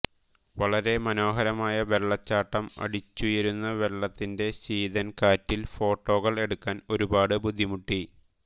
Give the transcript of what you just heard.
വളരെ മനോഹരമായ വെള്ളച്ചാട്ടം അടിച്ചുയരുന്ന വെള്ളത്തിന്റെ ശീതൻ കാറ്റിൽ ഫോട്ടോകൾ എടുക്കാൻ ഒരുപാട് ബുദ്ധിമുട്ടി